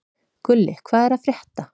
Gulli, hvað er að frétta?